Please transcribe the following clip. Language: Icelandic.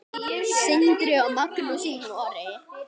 Sindri og Magnús í Noregi.